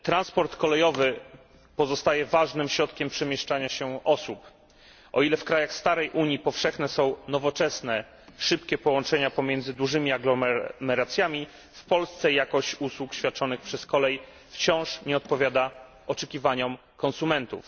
Transport kolejowy pozostaje ważnym środkiem przemieszczania się osób. O ile w krajach starej Unii powszechne są nowoczesne, szybkie połączenia pomiędzy dużymi aglomeracjami, w Polsce jakość usług świadczonych przez kolej wciąż nie odpowiada oczekiwaniom konsumentów.